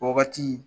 O wagati